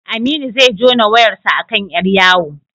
Aminu zai jona wayarsa a kan ƴar yawo.